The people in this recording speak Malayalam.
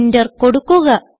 എന്റർ കൊടുക്കുക